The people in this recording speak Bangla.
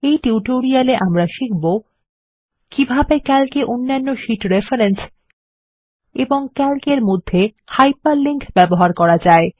এই টিউটোরিয়াল এ আমরা শিখবো কিভাবে160 ক্যালক এ অন্যান্য শীট রেফরেন্স এবং ক্যালক এর মধ্যে হাইপারলিংক ব্যবহার করা যায়